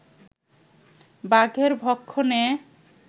বাঘের ভক্ষণে